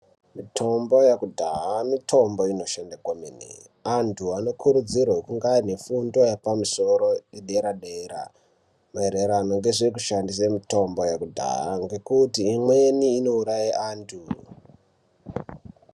Mitombo ye kudhaha mitombo inoshanda kwemene antu ano kuridzirwe kunge aine fundo yepa musoro ye dera dera maererano ngezveku shandise mitombo yekudhaha ngekuti imweni ino uraye antu.